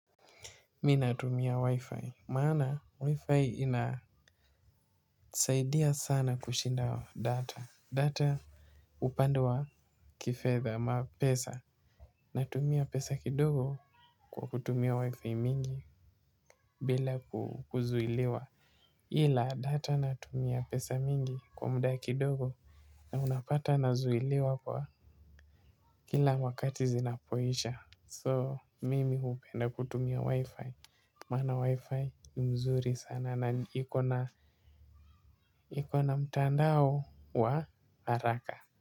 Mimi natumia Wi-Fi maana Wi-Fi inasaidia sana kushinda data, data. Upande wa kifedha ama pesa, natumia pesa kidogo kwa kutumia Wi-Fi mingi. Bila kuzuiliwa, ila data natumia pesa nyingi kwa muda kidogo. Na unapata nazuiliwa kila wakati zinapoisha. So, mimi hupenda kutumia Wi-Fi. Maana Wi-fi ni nzuri sana na ikona ikona mtandao wa haraka.